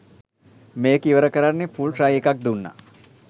මේක ඉවර කරන්න ෆුල් ට්‍රයි එකක් දුන්න.